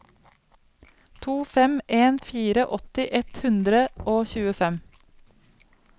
to fem en fire åtti ett hundre og tjuefem